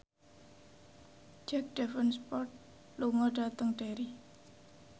Jack Davenport lunga dhateng Derry